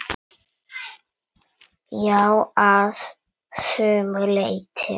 Já, að sumu leyti.